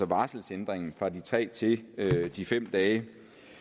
varselsændringen fra de tre til de fem dage